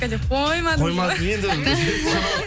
қоймадыңыз ғой қоймадым енді